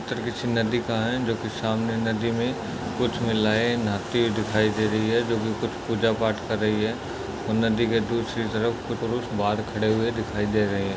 चिन्ह दिखा है। जोकि सामने नदी मे कुछ महिलाए नहाती हुई दिखाई दे रही है। जोबी कुछ पुंजा पाठ कर रही है। और नदी के दूसरी तरफ कुछ पुरुष बाहर खड़े हुए दिखाई दे रहे है।